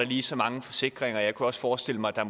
lige mange forsikringer jeg kunne også forestille mig at